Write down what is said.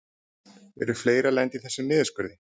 Eru fleiri að lenda í þessum niðurskurði?